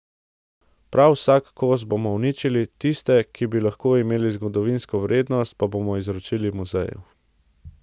Prav vsak kos bomo uničili, tiste, ki bi lahko imeli zgodovinsko vrednost, pa bomo izročili muzeju.